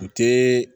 U tɛ